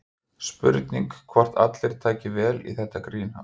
Spurning hvort allir taki vel í þetta grín hans?